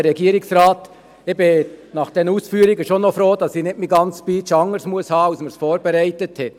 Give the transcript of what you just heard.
Ich bin nach diesen Ausführungen doch noch froh, dass ich meine ganze Speech nicht anders halten muss, als wir sie vorbereitet haben.